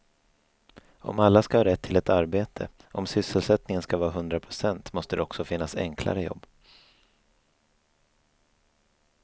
Om alla ska ha rätt till ett arbete, om sysselsättningen ska vara hundra procent måste det också finnas enklare jobb.